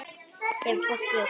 hefur það spurt.